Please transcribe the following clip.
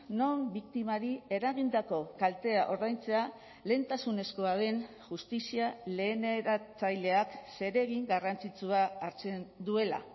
non biktimari eragindako kaltea ordaintzea lehentasunezkoa den justizia leheneratzaileak zeregin garrantzitsua hartzen duela